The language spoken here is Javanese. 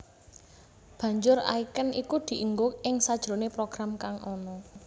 Banjur icon iku dienggo ing sajroné program kang ana